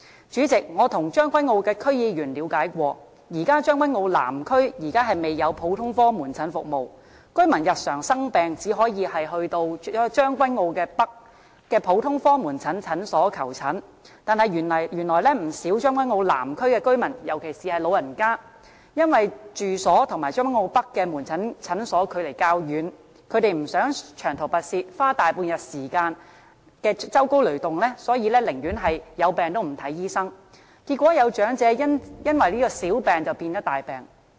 主席，我曾向將軍澳區議員了解過，現時將軍澳南區未有普通科門診服務，居民日常生病只能到將軍澳北的普通科門診診所求診，但原來不少將軍澳南區的居民，尤其是老人家，因為住所與將軍澳北的門診診所距離較遠，不想長途跋涉、花大半日時間舟車勞頓，所以寧願有病也不看醫生，結果有長者因此小病變大病。